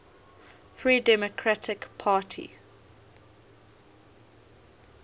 free democratic party